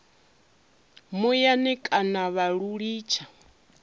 muyani kana vha lu litsha